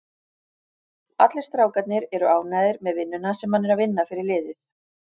Allir strákarnir eru ánægður með vinnuna sem hann er að vinna fyrir liðið.